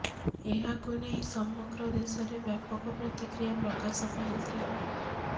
ଏହାକୁ ନେଇ ସମଗ୍ର ଦେଶରେ ବ୍ୟାପକ ପ୍ରତିକ୍ରିୟା ପ୍ରକାଶ ପାଇଥିଲା